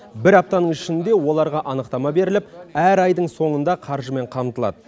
бір аптаның ішінде оларға анықтама беріліп әр айдың соңында қаржымен қамтылады